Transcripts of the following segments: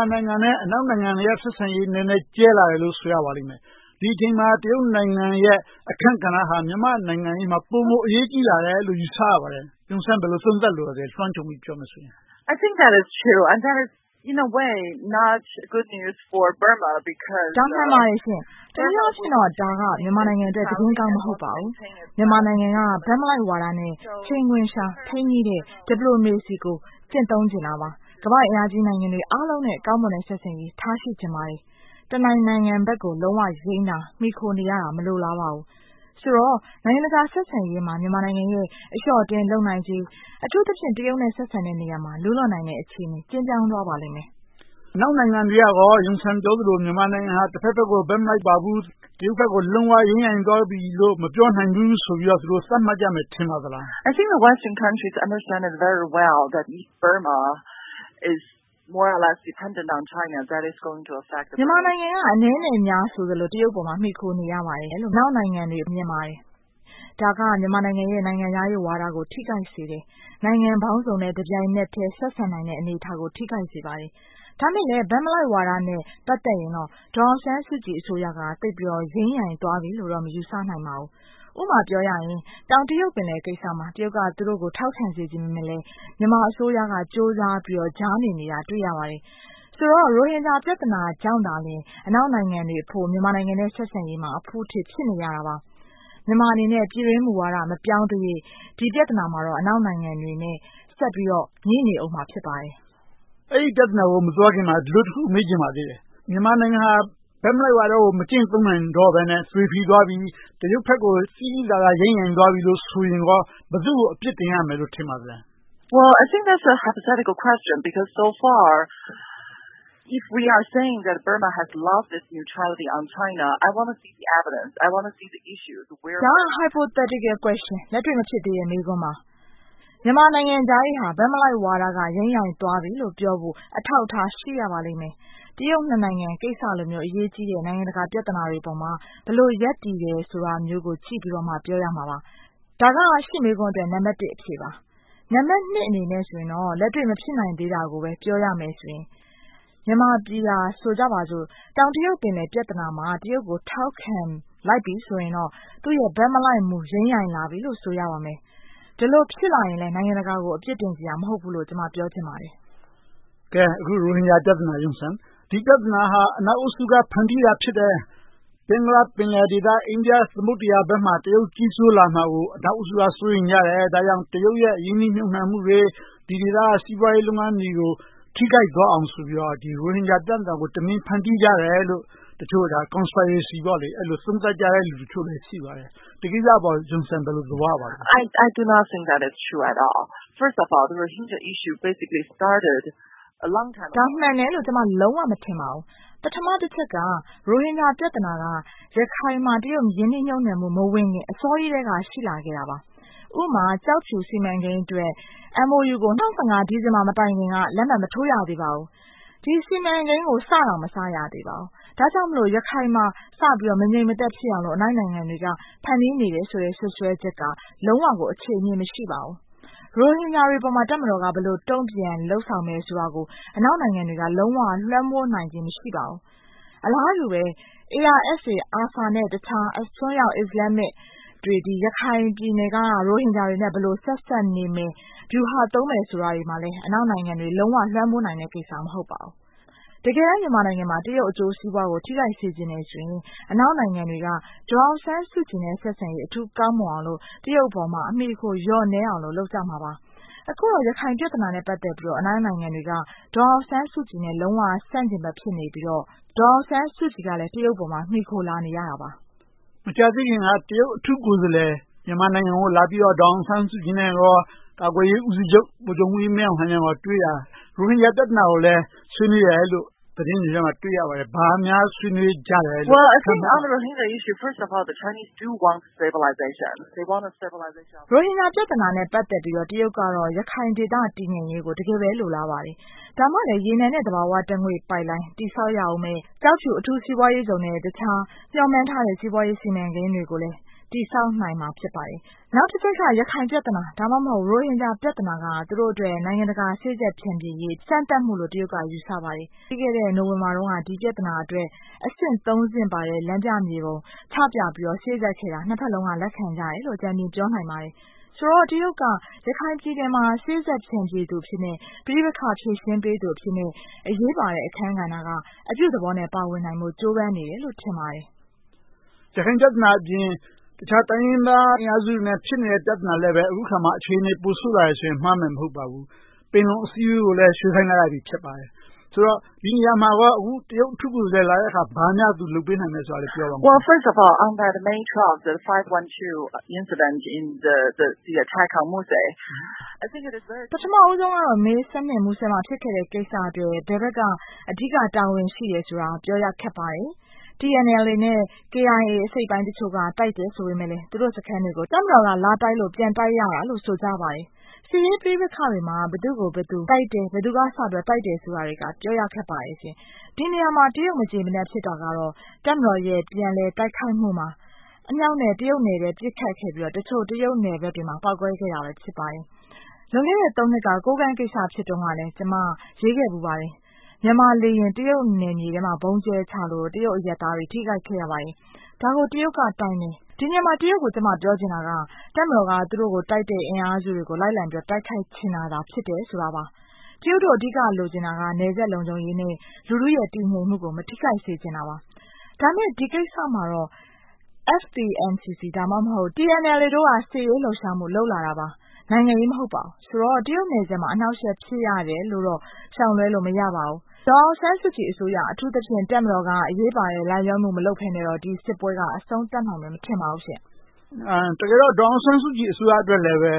ာနိုင်ငံနဲ့ အနောက်နိုင်ငံတွေရဲ့ ဆက်ဆံရေး နည်းနည်းကျဲလာတယ်လို့ ဆိုရပါလိမ့်မယ်။ ဒီအချိန်မှာ တရုတ်နိုင်ငံရဲ့ အခန်းကဏ္ဍဟာ မြန်မာ့နိုင်ငံရေးမှာ ပိုမိုအရေးကြီးလာတယ်လို့ ယူဆရပါတယ်။ Yun Sun ဘယ်လို သုံးသပ်လိုပါလဲ။ လွှမ်းခြုံပြီး သုံးသပ်ပြောမယ်ဆိုရင်။ ဒါ မှန်ပါတယ်။ တနည်းအားဖြင့်တော့ ဒါက မြန်မာနိုင်ငံအတွက် သတင်းကောင်းမဟုတ်ပါဘူး။ မြန်မာနိုင်ငံက ဘက်မလိုက်ဝါဒနဲ့ ချိန်ခွင်လျှာ ထိန်းညှိတဲ့ diplomacy ကို ကျင့်သုံးချင်တာပါ။ ကမ္ဘာ့အင်အားကြီးနိုင်ငံတွေအားလုံးနဲ့ ကောင်းမွန်တဲ့ ဆက်ဆံရေး ထားရှိချင်ပါတယ်။ တနိုင်ငံဘက်ကို လုံးဝယိမ်းတာ မှီခိုနေရတာကို လုံးဝမလိုလားပါဘူး။ ဆိုတော့ နိုင်ငံတကာဆက်ဆံရေးမှာ မြန်မာနိုင်ငံရဲ့ အလျှော့အတင်းလုပ်နိုင်ခြင်း - အထူးသဖြင့် တရုတ်နဲ့ ဆက်ဆံတဲ့နေရာမှာ လူးလွန့်နိုင်တဲ့ အခြေအနေ ကျဉ်းမြောင်းသွားပါလိမ့်မယ်။ အနောက်နိုင်ငံတွေကကော Yun Sun ပြောသလို မြန်မာနိုင်ငံက တဘက်ဘက်ကို ဘက်မလိုက်ပါဘူး၊ တရုတ်ဘက်ကို ယိမ်းယိုင်သွားပြီလားလို့ မပြောနိုင်ဘူးဆိုပြီးတော့ သူတို့ သတ်မှတ်ကြမယ် ထင်ပါသလား။ မြန်မာနိုင်ငံက အနည်းနဲ့အများဆိုသလို တရုတ်ဘက်ကို မှီခိုနေရပါတယ်လို့ အနောက်နိုင်ငံတွေက မြင်ပါတယ်။ ဒါက မြန်မာနိုင်ငံရဲ့ နိုင်ငံခြားရေးဝါဒကို ထိခိုက်စေတယ်။ နိုင်ငံပေါင်းစုံနဲ့ တပြိုင်နက်ထဲ ဆက်ဆံနိုင်တဲ့အနေအထားကို ထိခိုက်စေပါတယ်။ ဒါပေမဲ့လဲ ဘက်မလိုက်ဝါဒနဲ့ ပတ်သက်ရင်တော့ ဒေါ်အောင်ဆန်းစုကြည်အစိုးရက ယိမ်းယိုင်သွားပြီလို့တော့ မယူဆနိုင်ပါဘူး။ ဥပမာ တောင်တရုတ်ပင်လယ်ကိစ္စမှာ တရုတ်က သူတို့ကို ထောက်ခံစေချင်ပေမယ့်လဲ မြန်မာအစိုးရက ကြိုးစားပြီးတော့ ကြားနေနေတာကို တွေ့ရပါတယ်။ ဆိုတော့ ရိုဟင်ဂျာ ပြဿနာကြောင့်သာလျှင် အနောက်နိုင်ငံတွေအဖို့ မြန်မာနိုင်ငံနဲ့ ဆက်ဆံရေးမှာ အဖုအထစ် ဖြစ်နေရတာပါ။ မြန်မာအနေနဲ့ ပြည်တွင်းမူဝါဒ မပြောင်းသရွေ့ ဒီပြဿနာမှာ အနောက်နိုင်ငံတွေနဲ့ ဆက်ပြီးတော့ ငြိ့နေအုံးမှာ ဖြစ်ပါတယ်။ အဲဒီ ပြဿနာကို မသွားခင်မှာ တခုမေးချင်ပါသေးတယ် - မြန်မာနိုင်ငံဟာ ဘက်မလိုက်ဝါဒကို မကျင့်သုံးတော့ဘဲနဲ့ သွေးဖီသွားပြီ၊ တရုတ်ဘက်ကို သိသိသာသာ ယိမ်းယိုင်းသွားပြီလို့ ဆိုရင်ကော ဘယ်သူကို အပြစ်တင်ရမယ်လို့ ထင်ပါသလဲ။ ဒါက လက်တွေ့မဖြစ်သေးတဲ့ မေးခွန်းပါ။ မြန်မာနိုင်ငံခြားရေးဟာ ဘက်မလိုက်ဝါဒက ယိမ်းယိုင်းသွားပြီလို့ ပြောဖို့ အထောက်အထား ရှိရပါလိမ့်မယ်။ တရုတ်နှစ်နိုင်ငံကိစ္စလိုမျိုး အရေးကြီးတဲ့ နိုင်ငံတကာပြဿနာတွေပေါ်မှာ ဘယ်လိုရပ်တည်နေတယ်ဆိုတာမျိုးကို ကြည့်ပြီးတော့မှ ပြောရမှာပါ။ ဒါက ရှင့်မေးခွန်းအတွက် နံပတ်တစ်အဖြေပါ။ နံပတ်နှစ်အနေနဲ့ဆိုရင်တော့ လက်တွေ့မဖြစ်နိုင်သေးတာကို ပြောရမယ့်ဆိုရင် မြန်မာပြည်ဟာ ဆိုကြပါစို့ တောင်တရုတ်ပင်လယ်ပြဿနာမှာ တရုတ်ကို ထောက်ခံလိုက်ပြီဆိုရင်တော့ သူ့ရဲ့ ဘက်မလိုက်မူ ယိမ်းယိုင်လာပြီလို့ ဆိုရပါမယ်။ ဒီလိုဖြစ်လာရင်လဲ နိုင်ငံတကာကို အပြစ်တင်စရာ မဟုတ်ဘူးလို့ ကျမ ပြောချင်ပါတယ်။ အခု ရိုဟင်ဂျာ ပြဿနာက အနောက်အုပ်စုက ဖန်တီးတာဖြစ်တယ်။ ဘင်္ဂလားပင်လယ်ဒေသ အိန္ဒိယသမုဒ္ဒရာဘက်မှာ တရုတ်ကြီးစိုးလာမှာကို အနောက်အုပ်စုက စိုးရိမ်နေကြတယ်။ ဒါကြောင့် တရုတ်ရဲ့ ရင်းနှီးမြှုပ်နံှမှုတွေ၊ ဒီဒေသက စီးပွားရေးလုပ်ငန်းတွေကို ထိခိုက်သွားအောင်ဆိုပြီးတော့ ရိုဟင်ဂျာပြဿနာကို တမင်ဖန်တီးကြတယ်လို့ တချို့က Conspiracy လို့ သုံးသပ်ကြတဲ့ လူတချို့လည်း ရှိပါတယ်။ ဒီကိစ္စအပေါ် Yun Sun ဘယ်လို သဘောရပါလဲ။ ဒါမှန်တယ်လို့ ကျမ လုံးဝမထင်ပါဘူး။ ပထမတချက်က ရိုဟင်ဂျာ ပြဿနာက ရခိုင်မှာ တရုတ် ရင်းနှီးမြှုပ်နံှမှု မဝင်ခင် အစောကြီးကတည်းက ရှိလာခဲ့ပါတယ်။ ဥပမာ ကျောက်ဖြူစီမံကိန်းအတွက် MOU ကို ၂၀၁၅ ဒီဇင်ဘာမတိုင်မီက လက်မှတ်မထိုးရသေးပါဘူး။ ဒီ စီမံကိန်းကို စတောင်မစရသေးပါဘူး။ ဒါကြောင့်မို့ ရခိုင်မှာ စပြီးတော့ မငြိမ်မသက်ဖြစ်အောင်လို့ အနောက်နိုင်ငံတွေက ဖန်တီးနေတယ်ဆိုတဲ့ စွပ်စွဲချက်က လုံးဝကို အခြေအမြစ် မရှိပါဘူး။ ရိုဟင်ဂျာတွေပေါ်မှာ တပ်မတော်က ဘယ်လိုတုံ့ပြန်လုပ်ဆောင်မယ်ဆိုတာကို အနောက်နိုင်ငံတွေက လုံးဝလွှမ်းမိုးနိုင်ခြင်း မရှိပါဘူး။ အလားတူပဲ ARSA နဲ့ တခြားအစွန်းရောက်အစ္စလာမ်မစ်တွေ ရခိုင်ပြည်နယ်က ရိုဟင်ဂျာတွေနဲ့ ဘယ်လိုဆက်စပ်နေမယ်၊ ဗျူဟာသုံးမယ်ဆိုတာတွေကိုလဲ လုံးဝလွှမ်းမိုးနိုင်မယ့်ကိစ္စ မဟုတ်ပါဘူး။ တကယ်တမ်း မြန်မာနိုင်ငံမှာ တရုတ်အကျိုးစီးပွားကို ထိခိုက်စေချင်တယ်ဆိုရင် အနောက်နိုင်ငံတွေက ဒေါ်အောင်ဆန်းစုကြည်နဲ့ ဆက်ဆံရေး အထူးကောင်းမွန်အောင်လို့ တရုတ်အပေါ်မှာ အမှီအခိုလျော့နည်းအောင်လိုတော့ လုပ်ကြမှာပါ။ အခုတော့ ရခိုင်ပြဿနာနဲ့ ပတ်သက်ပြီးတော့ အနောက်နိုင်ငံတွေက ဒေါ်အောင်ဆန်းစုကြည်နဲ့ လုံးဝဆန့်ကျင်ဘက် ဖြစ်နေပြီးတော့ ဒေါ်အောင်ဆန်းစုကြည်ကလည်း တရုတ်အပေါ်မှာ မှီခိုလာနေရတာပါ။ မကြာသေးခင်က တရုတ်အထူးကိုယ်စားလှယ် မြန်မာနိုင်ငံကိုလာပြီးတော့ ဒေါ်အောင်ဆန်းစုကြည်၊ ကာကွယ်ရေးဦးစီးချုပ် ဗိုလ်ချုပ်မှူးကြီးမင်းအောင်လှိုင်တို့နဲ့ တွေ့ခဲ့တာ ရိုဟင်ဂျာပြဿနာကိုလည်း ဆွေးနွေးတယ်လို့ သတင်းတွေမှာ တွေ့ရပါတယ်။ ဘာများဆွေးနွေးကြတယ်လို့ ထင်ပါသလဲ။ ရိုဟင်ဂျာပြဿနာနဲ့ ပတ်သက်ပြီးတော့ တရုတ်ကတော့ ရခိုင်ဒေသ တည်ငြိမ်ရေးကို တကယ်ပဲ လိုလားပါတယ်။ ဒါမှလဲ ရေနံနဲ့ သဘာဝဓါတ်ငွေ့ပိုက်လိုင်း တည်ဆောက်ရအုံးမယ့် ကျောက်ဖြူအထူးစီးပွားရေးဇုန်နဲ့ အခြားမျှော်မှန်းထားတဲ့ စီးပွားရေးစီမံကိန်းတွေကိုလည်း တည်ဆောက်နိုင်မှာ ဖြစ်ပါတယ်။ နောက်တခုက ရခိုင်ပြဿနာ၊ ဒါမှမဟုတ် ရိုဟင်ဂျာပြဿနာက သူတို့အတွက် နိုင်ငံတကာ စေ့စပ်ဖြန့်ဖြေရေး စမ်းသပ်မှုလို့ တရုတ်က ယူဆပါတယ်။ ပြီးခဲ့တဲ့ နိုဝင်ဘာတုန်းက ဒီပြဿနာအတွက် အဆင့်သုံးဆင့်ပါတဲ့ လမ်းပြမြေပုံ ချပြပြီးတော့ စေ့စပ်ခဲ့တာကို နှစ်ဘက်စလုံးက လက်ခံကြတယ်လို့ အကြမ်းဖျဉ်း ပြောနိုင်ပါတယ်။ ဆိုတော့ တရုတ်က ရခိုင်ပြည်နယ်မှာ စေ့စပ်ဖြန့်ဖြေသူအဖြစ် ပဋိပက္ခဖြေရှင်းပေးသူအဖြစ်နဲ့ အရေးပါတဲ့ အခန်းကဏ္ဍကနေ အပြုသဘောနဲ့ ပါဝင်နိုင်ဖို့ ကြိုးပမ်းနေတယ်လို့ ထင်ပါတယ်။ ရခိုင်ပြဿနာအပြင် တခြားတိုင်းရင်းသားအင်အားစုတွေနဲ့ ဖြစ်နေတဲ့ ပြဿနာတွေလည်း အခုအခါမှာ အခြေအနေ ပိုဆိုးလာတယ်ဆိုရင် မှားမယ်မဟုတ်ပါဘူး။ ပင်လုံအစည်းအဝေးကိုလည်း ရွှေ့ဆိုင်းလိုက်ရပြီ ဖြစ်ပါတယ်။ ဆိုတော့ ဒီနေရာမှာကော အခု တရုတ်ကိုယ်စားလှယ်လာတဲ့အခါ ဘာများ သူလုပ်ပေးနိုင်မယ်လို့ ပြောပါ။ ပထမဦးဆုံးကတော့ မေ မူဆယ်မှာ ဖြစ်ခဲ့တဲ့ ကိစ္စအတွက် ဘယ်ဘက်က အဓိက တာဝန်ရှိတယ်ဆိုတာကို ပြောရခက်ပါတယ်။ TNLA နဲ့ KIA အစိတ်အပိုင်းတချို့က တိုက်တယ်ဆိုပေမယ့်လဲ သူတို့စခန်းတွေကို တပ်မတော်က လာတိုက်လို့ ပြန်တိုက်ရတယ်လို့ ဆိုကြပါတယ်။ စစ်ရေးပဋိပက္ခတွေမှာ ဘယ်သူ့ကိုဘယ်သူ တိုက်တယ်။ ဘယ်သူက တိုက်တယ်ဆိုတာတွေက ပြောရခက်ပါတယ်။ ဒီနေရာမှာ တရုတ်မကျေမနပ် ဖြစ်တာကတော့ တပ်မတော်ရဲ့ ပြန်လည်တိုက်ခိုက်မှုမှာ အမြှောက်နဲ့ တရုတ်နယ်ထဲ ပစ်ခတ်ခဲ့ပြီးတော့ တရုတ်နယ်ဘက်တွေမှာ ပေါက်ကွဲခဲ့တာတွေ ဖြစ်ပါတယ်။ လွန်ခဲ့တဲ့ သုံးနှစ်လောက်က ကိုးကန့်ကိစ္စ ဖြစ်တုန်းကလည်း ကျမ ရေးခဲ့ဖူးပါတယ်။ မြန်မာလေယာဉ် တရုတ်နယ်မြေထဲမှာ ဗုံးကျဲချလို့ တရုတ်အရပ်သားတွေ ထိခိုက်ခဲ့ရပါတယ်။ ဒါကို တရုတ်ကတိုင်တယ်။ ဒီနေရာမှာ တရုတ်ကို ကျမပြောချင်တာက တပ်မတော်က သူတို့ကိုတိုက်တဲ့ အင်အားစုတွေကို လိုက်လံပြီးတော့ တိုက်ခိုက်ချင်တာ ဖြစ်ပါတယ်။ တရုတ်တို့ အဓိကလိုချင်တာက နယ်စပ်လုံခြုံရေးနဲ့ လူထုရဲ့ တည်ငြိမ်မှုကို မထိခိုက်စေချင်တာပါ။ ဒါပေမဲ့ ဒီကိစ္စမှာတော့ SPNCC ဒါမှမဟုတ် TNLA တို့က စစ်ရေးလှုပ်ရှားမှု လုပ်လာတာပါ။ နိုင်ငံရေး မဟုတ်ပါဘူး။ ဆိုတော့ တရုတ်နယ်စပ်မှာ အနှောင့်အယှက် ဖြစ်ရတယ်လို့တော့ ရှောင်လွှဲလို့ မရနိုင်ပါဘူး။ ဒေါ်အောင်ဆန်းစုကြည်အစိုးရ အထူးသဖြင့် တပ်မတော်က အရေးပါတဲ့ လိုက်လျောမှု မလုပ်ဘဲနဲ့ ဒီစစ်ပွဲက အဆုံးသတ်နိုင်မယ် မထင်ပါဘူး။ တကယ်တော့ ဒေါ်အောင်ဆန်းစုကြည် အစိုးရအတွက်လည်းပဲ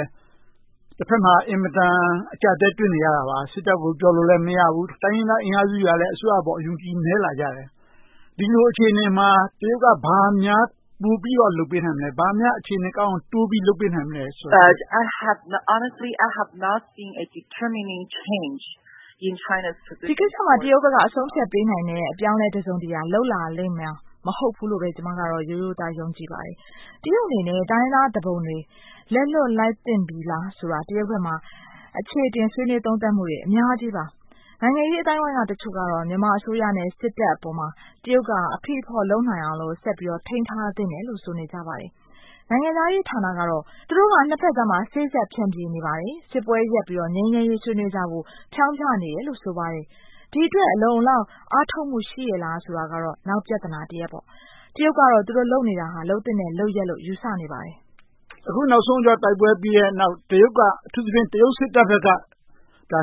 တဘက်မှာ အင်မတန် အကျပ်အတည်းတွေ့နေရတာပါ။ စစ်တပ်ကို ပြောလို့လဲ မရဘူး။ တိုင်းရင်းသားအင်အားစုတွေကလည်း အစိုးရအပေါ် အယုံအကြည် နည်းလာကြတယ်။ ဒီလိုအခြေအနေမှာ တရုတ်က ဘာများပိုပြီးတော့ လုပ်ပေးနိုင်မလဲ။ ဘာများအခြေအနေကောင်းအောင် တိုးပြီးတော့ လုပ်ပေးနိုင်မလဲ။ ဒီကိစ္စကို တရုတ်ဘက်က အဆုံးအဖြတ်ပေးနိုင်မယ့် အပြောင်းအလဲ တစုံတရာ လုပ်လာလိမ့်မယ် မဟုတ်ဘူးလို့ပဲ ကျမကတော့ ရိုးရိုးသားသား ယုံကြည်နေပါတယ်။ တရုတ်အနေနဲ့ တိုင်းရင်းသားသူပုန်တွေ လက်လွှတ်လိုက်သင့်ပြီလားဆိုတာ တရုတ်ဘက်မှာ အခြေအတင်ဆွေးနွေးသုံးသပ်မှုတွေ အများကြီးပါ။ နိုင်ငံရေးအသိုင်းအဝိုင်းအချို့ကတော့ မြန်မာအစိုးရနဲ့ စစ်တပ်အပေါ်မှာ တရုတ်က အဖိအဖေါ့လုပ်နိုင်အောင်လို့ ဆက်ပြီးတော့ ထိန်းထားသင့်တယ်လို့ ဆိုနေကြပါတယ်။ နိုင်ငံခြားရေးဌာနကတော့ သူတို့က နှစ်ဘက်ကြားမှာ စေ့စပ်ဖြန့်ဖြေနေပါတယ်။ စစ်ပွဲရပ်ပြီးတော့ ငြိမ်းချမ်းရေးဆွေးနွေးကြဖို့ ဖျောင်းဖျနေတယ်လို့ ဆိုပါတယ်။ ဒီအတွက် အလုံအလောက် အားထုတ်မှု ရှိရဲ့လားဆိုတာကတော့ နောက်ပြဿနာတရပ်ပေါ့။ တရုတ်ကတော့ သူတို့လုပ်နေတာ လုပ်သင့်တဲ့လုပ်ရပ်လို့ ယူဆနေပါတယ်။ အခုနောက်ဆုံး တိုက်ပွဲတွေပြီးတဲ့နောက် တရုတ်က အထူးသဖြင့် တရုတ်စစ်တပ်ဘက်က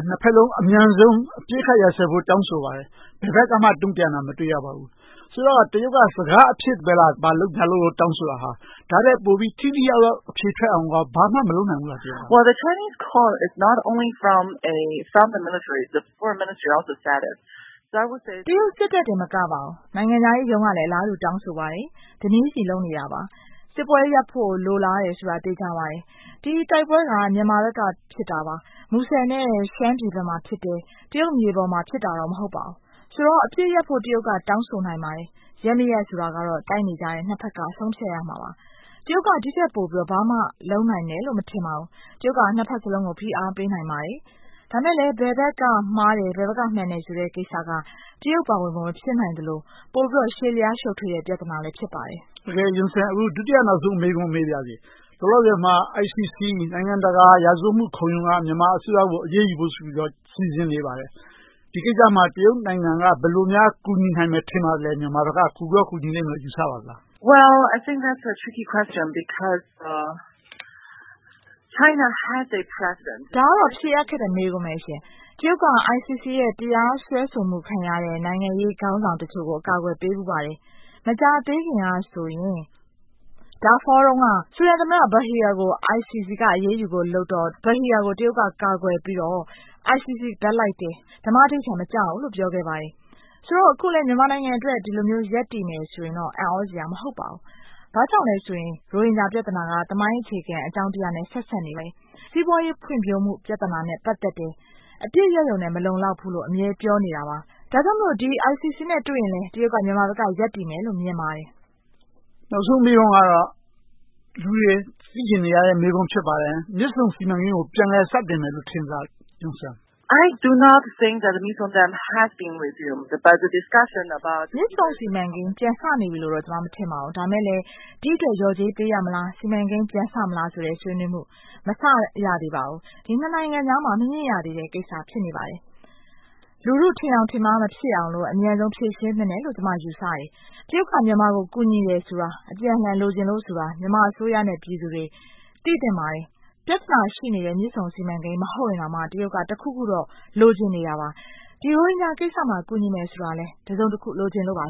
နှစ်ဘက်စလုံး အမြန်ဆုံး အပစ်အခတ်ရပ်စဲဖို့ တောင်းဆိုပါတယ်။ ဘယ်ဘက်ကမှ တုံ့ပြန်တာ မတွေ့ရပါဘူး။ ဆိုတော့ တရုတ်က စကားအဖြစ်ပဲလား။ ဘာလုပ်ညာလုပ်တောင်းဆိုတာဟာ။ ဒါထက်ပိုပြီး ထိထိရောက်ရောက် အဖြေထွက်အောင် ဘာမှမလုပ်နိုင်ဘူးလား။ တရုတ်စစ်တပ်တင်မကပါဘူး နိုင်ငံခြားရေးရုံးကလည်း အလားတူ တောင်းဆိုပါတယ်။ တပြေညီလုပ်နေတာပါ။ စစ်ပွဲရပ်ဖို့ လိုလားတယ်ဆိုတာ သေချာပါတယ်။ ဒီတိုက်ပွဲတွေဟာ မြန်မာဘက်က ဖြစ်တာပါ။ မူဆယ်နဲ့ ရှမ်းပြည်ဘက်မှာဖြစ်တယ်။ တရုတ်မြေပေါ်မှာ ဖြစ်တာတော့ မဟုတ်ပါဘူး။ ဆိုတော့ အပစ်ရပ်ဖို့ တရုတ်က တောင်းဆိုနိုင်ပါတယ်။ ရပ်မရပ်ဆိုတာတော့ တိုက်နေတဲ့ နှစ်ဘက်က ဆုံးဖြတ်ရမှာပါ။ တရုတ်က ဒီထက်ပိုပြီးတော့ လုပ်နိုင်မယ်လို့ မထင်ပါဘူး။ တရုတ်က နှစ်ဘက်စလုံးကို ဖိအားပေးနိုင်ပါတယ်။ ဒါပေမဲ့လဲ ဘယ်ဘက်က မှားတယ်၊ မှန်တယ်ဆိုတဲ့ ကိစ္စက တရုတ်ပါဝင်ဖို့ မဖြစ်နိုင်သလို၊ ပိုပြီးတော့ ရှည်လျားရှုပ်ထွေးတဲ့ ပြဿနာလည်း ဖြစ်ပါတယ်။ ဒုတိယနောက်ဆုံး မေးပါရစေ… လောလောဆယ်မှာ ICC နိုင်ငံတကာရာဇဝတ်မှုခုံရုံးက မြန်မာနိုင်ငံအစိုးရကို အရေးယူဖို့ဆိုပြီးတော့ စီစဉ်နေပါတယ်။ ဒီကိစ္စမှာ တရုတ်နိုင်ငံက ဘယ်လိုများ ကူညီနိုင်မယ် ထင်ပါသလဲ။ မြန်မာဘက်က ကူကောကူညီမယ်လို့ ထင်ပါသလား။ ဒါကတော့ ဖြေရခက်တဲ့ မေးခွန်းပါ။ တရုတ်က ICC ရဲ့ တရားစွဲဆိုမှု ခံရတဲ့ နိုင်ငံရေးခေါင်းဆောင်တချို့ကို အကာအကွယ်ပေးဖူးပါတယ်။ မကြာသေးခင်ကဆိုရင် Darfur တုန်းက ဆူဒန်သမ္မတ al-Bashir ကို ICC က အရေးယူဖို့လုပ်တော့ al-Bashir ကို တရုတ်က ကာကွယ်ပြီးတော့ ICC ဘက်လိုက်တယ်၊ ဓမ္မဓိဋ္ဌာန် မကျဘူးလို့ ပြောခဲ့ပါတယ်။ ဆိုတော့ အခုလဲ မြန်မာနိုင်ငံအတွက် ဒီလိုမျိုး ရပ်တည်မယ်ဆိုရင်တော့ အံ့သြစရာ မဟုတ်ပါဘူး။ ဘာကြောင့်လဲဆိုရင် ရိုဟင်ဂျာ ပြဿနာက သမိုင်းအခြေခံ အကြောင်းတရားနဲ့ ဆက်စပ်နေလေ၊ စီးပွားရေးဖွံ့ဖြိုးမှု ပြဿနာနဲ့ ပတ်သက်တယ်။ အပစ်ရပ်ရုံနဲ့ မလုံလောက်ဘူးလို့ အမြဲပြောနေတာပါ။ ဒါကြောင့်မို့ ICC နဲ့ တွေ့ရင်လဲ တရုတ်က မြန်မာဘက်က ရပ်တည်မယ်လို့ မြင်ပါတယ်။ နောက်ဆုံးမေးခွန်းကတော့ လူတွေသိချင်နေတဲ့ မေးခွန်းဖြစ်ပါတယ်။ မြစ်ဆုံစီမံကိန်းကို ပြန်လည်စတင်မယ်လို့ ထင်ပါသလား။ မြစ်ဆုံစီမံကိန်း ပြန်စနေပြီလို့ ကျမ မထင်ပါဘူး။ ဒါပေမဲ့လဲ ဒီအတွက် လျော်ကြေးပေးရမလား။ စီမံကိန်းပြန်စမလားဆိုတဲ့ ဆွေးနွေးမှု မစရသေးပါဘူး။ ဒီနှစ်နိုင်ငံကြားမှာ မညှိရသေးတဲ့ကိစ္စ ဖြစ်နေပါတယ်။ လူထု ထင်ယောင်ထင်မှား မဖြစ်အောင်လို့ အမြန်ဆုံး ဖြေရှင်းသင့်တယ်လို့ ကျမ ယူဆတယ်။ တရုတ်က မြန်မာကို ကူညီတယ်ဆိုတာ အပြန်အလှန်လိုချင်လို့ဆိုတာ မြန်မာအစိုးရနဲ့ ပြည်သူတွေ သိသင့်ပါတယ်။ ပြဿနာရှိနေတဲ့ မြစ်ဆုံစီမံကိန်း မဟုတ်ရင်တောင်မှ တရုတ်က တခုခုတော့ လိုချင်နေတာပါ။ ရိုဟင်ဂျာကိစ္စမှာ ကူညီမယ်ဆိုတာလဲ တစုံတခု လိုချင်နေလို့ပါ